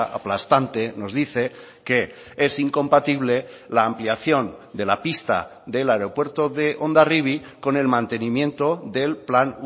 aplastante nos dice que es incompatible la ampliación de la pista del aeropuerto de hondarribi con el mantenimiento del plan